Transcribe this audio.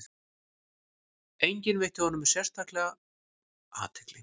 Enginn veitti honum sérstaka athygli.